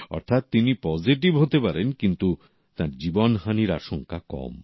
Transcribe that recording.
অর্থাৎ তিনি পজেটিভ হতে পারেন কিন্তু জীবনহানির আশংকা কম